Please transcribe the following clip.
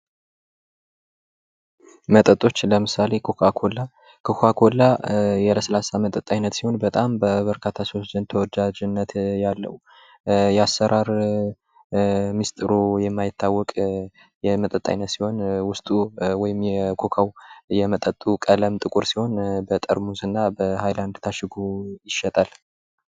መጠጦች ለምሳሌ ኮካኮላ:- ኮካኮላ የለስላሳ መጠጥ አይነት ሲሆን በበርካታ ሰዎች ዘንድ ተወዳጅነት ያለዉ የአሰራር ሚስጢሩ የማይታወቅ የመጠጥ አይነት ሲሆን ዉስጡ የኮካዉ የመጠጡ ቀለም ጥቁር ሲሆን በጠርሙስ እና በሀይላድ ታሽጎ ይሸጣል።